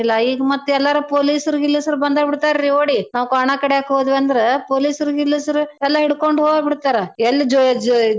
ಈಗ್ ಮತ್ ಎಲ್ಲಾರು police ರ್ರು ಗೀಲಿಸ್ರು ಬಂದ್ ಬಿಡ್ತಾರಿ ಓಡಿ ನಾವ್ ಕ್ವಾಣಾಕಡ್ಯಾಕ್ ಹೋದ್ವಂದ್ರ. police ರ್ರು ಗೀಲಿಸ್ರು ಎಲ್ಲಾ ಹಿಡ್ಕೊಂಡ್ ಹೋಬಿಡ್ತರಾ ಎಲ್ ಜೆ~ ಜೆ~.